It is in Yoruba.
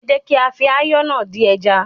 Ẹ jẹ́ kí á fi ayọ́ náà dín ẹja.